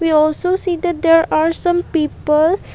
we also see that there are some people.